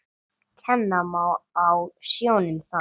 Kenna má á sjónum þann.